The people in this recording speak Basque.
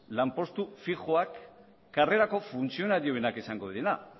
lanpostu fijoak karrerako funtzionarioenak izango direla